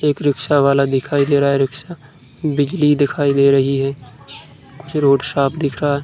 एक रिक्शा वाला दिखाई दे रहा है। रिक्शा बिजली दिखाई दे रही है। पीछे रोड साफ दिख रहा।